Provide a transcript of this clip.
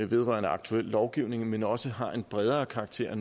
vedrørende aktuel lovgivning men også har en bredere karakter og